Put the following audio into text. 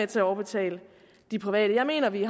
til at overbetale de private jeg mener at vi